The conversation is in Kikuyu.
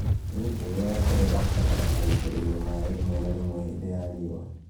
Mĩũngũrwa ya terere ĩbataraga gũitĩrĩrio maĩ rĩmwe na rĩmwe hingo ya riũa